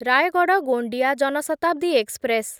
Rayagada Gondia Jan Shatabdi express